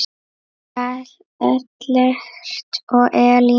Ellert og Elín.